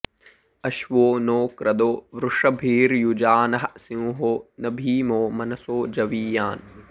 अश्वो नो क्रदो वृषभिर्युजानः सिंहो न भीमो मनसो जवीयान्